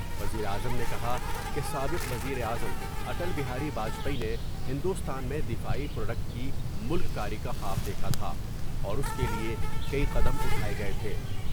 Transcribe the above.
وزیر اعظم نے کہا کہ سابق وزیر اعظم اٹل بہاری باجپئی نے ہندوستان میں دفاعی پروڈکٹ کی ملک کاری کا خواب دیکھا تھا اور اس کے لئے کئی قدم اٹھائے گئے تھے ۔